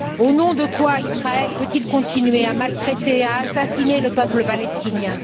Au nom de quoi Israël peut il continuer à maltraiter, à assassiner le peuple palestinien?